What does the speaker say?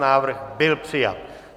Návrh byl přijat.